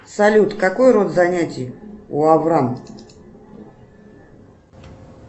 салют какой род занятий у аврам